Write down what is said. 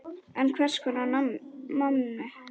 En hvers konar manni?